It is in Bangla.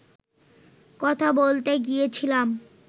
কথা বলতে গিয়েছিলাম